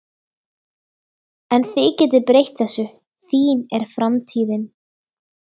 En þið getið breytt þessu, þín er framtíðin